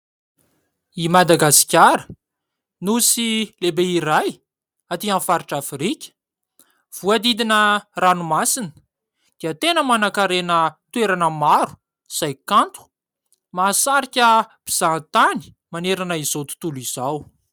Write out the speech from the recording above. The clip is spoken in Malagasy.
I Madagasikara nosy lehibe iray aty amin'ny faritra Afrika, voahodidina ranomasina dia tena manan-karena toerana maro izay kanto, mahasarika mpizaha tany manerana izao tontolo izao.